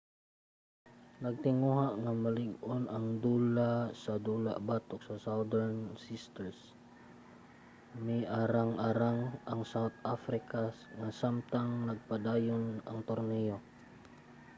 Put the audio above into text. nagtinguha nga malig-on nga dula sa dula batok sa southern sisters miarang-arang ang south africa nga samtang nagpadayon ang torneyo